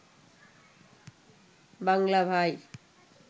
বাংলা ভাই